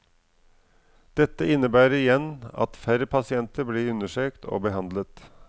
Dette innebærer igjen at færre pasienter blir undersøkt og behandlet.